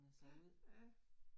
Ja ja